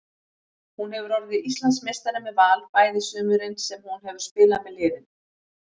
Hún hefur orðið Íslandsmeistari með Val bæði sumurin sem hún hefur spilað með liðinu.